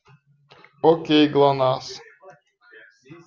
окей глонассс